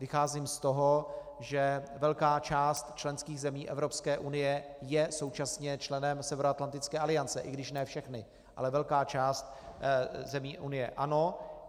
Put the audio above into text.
Vycházím z toho, že velká část členských zemí Evropské unie je současně členem Severoatlantické aliance, i když ne všechny, ale velká část zemí Unie ano.